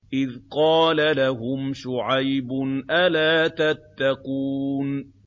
إِذْ قَالَ لَهُمْ شُعَيْبٌ أَلَا تَتَّقُونَ